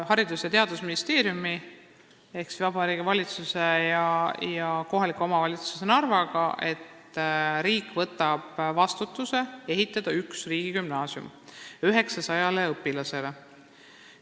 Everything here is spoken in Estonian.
Haridus- ja Teadusministeerium ehk Vabariigi Valitsus ja kohalik omavalitsus Narva on kokku leppinud, et riik võtab endale kohustuse ehitada üks riigigümnaasium 900 õpilasele.